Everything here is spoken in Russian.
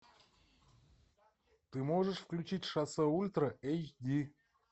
ты можешь включить шоссе ультра эйч ди